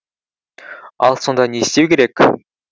ал сонда не істеу керек